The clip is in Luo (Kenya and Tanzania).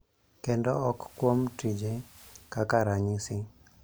kendo ok kuom tije, kaka ranyisi,